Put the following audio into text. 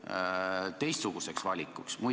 Millised on kaalutlused teistsuguseks valikuks?